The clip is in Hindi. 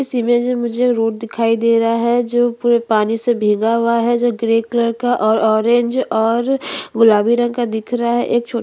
छोटा सा मंदिर दिख रहा है जो गुलाबी रंग का है उसके ऊपर एक झंडा है जो टंगा हुआ है और--